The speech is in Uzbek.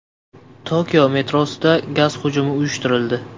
Tokio metrosida gaz hujumi uyushtirildi.